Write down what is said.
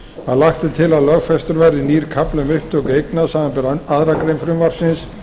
að lagt er til að lögfestur verði nýr kafli um upptöku eigna samanber aðra grein frumvarpsins